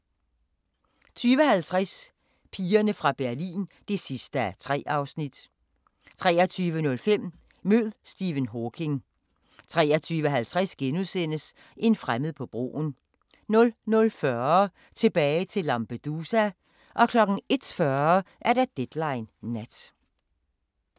20:50: Pigerne fra Berlin (3:3) 23:05: Mød Stephen Hawking 23:50: En fremmed på broen * 00:40: Tilbage til Lampedusa 01:40: Deadline Nat